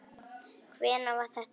Hvenær var það gert?